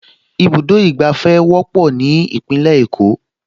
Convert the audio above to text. Ibùdó ìgbàfẹ́ wọ́pọ̀ ní Ìpínlẹ̀ Èkó